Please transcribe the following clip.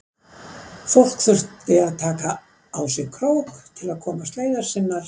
Fólk þurfti að taka á sig krók til að komast leiðar sinnar.